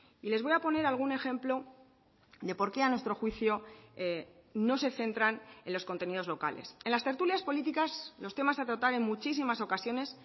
y les voy a poner algún ejemplo de por qué a nuestro juicio no se centran en los contenidos locales en las tertulias políticas los temas a tratar en muchísimas ocasiones